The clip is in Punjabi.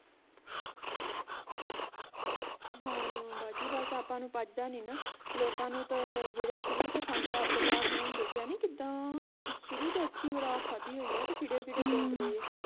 ਹਾਂ ਬਾਜੀ ਬਸ ਆਪਾਂ ਨੂੰ ਪਚਦਾ ਨਹੀਂ ਨਾ ਲੋਕਾਂ ਨੂੰ ਤਾਂ ਜਿਹੜੇ ਸ਼ੁਰੂ ਤੋਂ ਖਾਂਦੇ ਆ ਅਬਦੁੱਲਾ ਹੋਣਾ ਨੂੰ ਦੇਖਿਆ ਨੀ ਕਿੱਦਾਂ ਸ਼ੁਰੂ ਤੋਂ ਅੱਛੀ ਖੁਰਾਕ ਖਾਦੀ ਹੋਈ ਆ ਤੇ ਕਿੱਡੇ ਕਿੱਡੇ